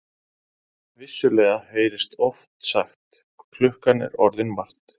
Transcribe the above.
Vissulega heyrist oft sagt: klukkan er orðin margt.